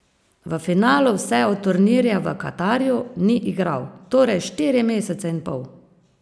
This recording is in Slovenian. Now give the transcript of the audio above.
V finalu vse od turnirja v Katarju ni igral, torej štiri mesece in pol!